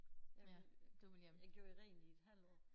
Jeg ville jeg gjorde jo rent i et halvt år